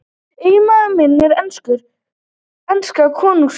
Eiginmaður minn er enska konungsríkið.